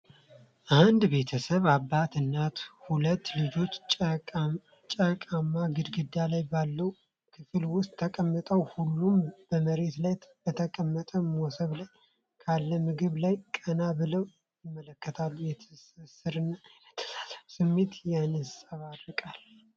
አንድ ቤተሰብ፣ አባት፣ እናትና ሁለት ልጆች ጭቃማ ግድግዳ ባለው ክፍል ውስጥ ተቀምጠዋል። ሁሉም በመሬት ላይ በተቀመጠ መሶብ ላይ ካለ ምግብ ላይ ቀና ብለው ይመለከታሉ። የትስስርና የመተሳሰብ ስሜት ይንጸባረቃል።